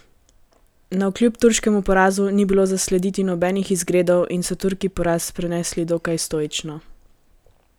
Navkljub turškemu porazu ni bilo zaslediti nobenih izgredov in so Turki poraz prenesli dokaj stoično.